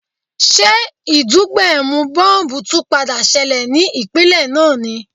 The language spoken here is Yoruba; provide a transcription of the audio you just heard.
Ṣé ìdúgbẹ̀mù bọ́m̀bù tún padà ṣẹlẹ̀ ní ìpínlè náà ni?